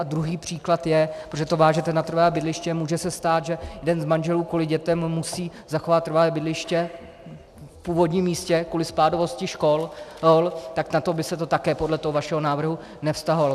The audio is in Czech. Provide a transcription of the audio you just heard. A druhý příklad je, protože to vážete na trvalé bydliště, může se stát, že jeden z manželů kvůli dětem musí zachovat trvalé bydliště v původním místě kvůli spádovosti škol, tak na to by se to také podle toho vašeho návrhu nevztahovalo.